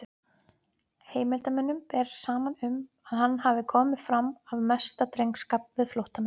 Heimildarmönnum ber saman um, að hann hafi komið fram af mesta drengskap við flóttamenn.